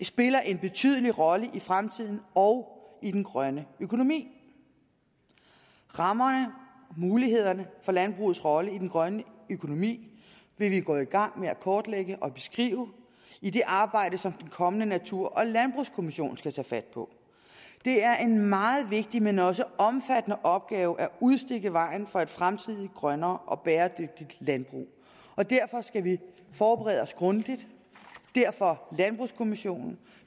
spiller en betydelig rolle i fremtiden og i den grønne økonomi rammerne mulighederne for landbrugets rolle i den grønne økonomi vil vi gå i gang med at kortlægge og beskrive i det arbejde som den kommende natur og landbrugskommission skal tage fat på det er en meget vigtig men også omfattende opgave at udstikke vejen for et fremtidigt grønnere og bæredygtigt landbrug og derfor skal vi forberede os grundigt derfor landbrugskommissionen